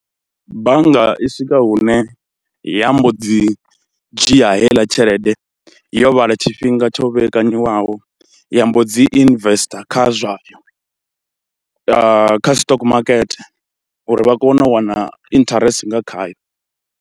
Bannga i swika hune ya mbo dzi dzhia heiḽa tshelede yo vhala tshifhinga tsho vhekanyiwa naho ya mbo dzi investor kha zwa, kha stock makete uri vha kone u wana interest nga khayo.